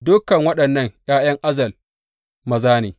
Dukan waɗannan ’ya’yan Azel maza ne.